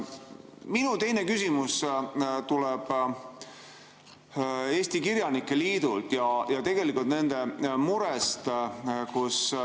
Minu teine küsimus tuleb Eesti Kirjanike Liidult ja tuleneb nende murest.